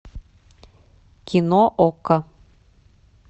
кино окко